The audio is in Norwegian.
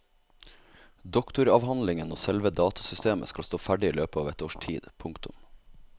Doktoravhandlingen og selve datasystemet skal stå ferdig i løpet av et års tid. punktum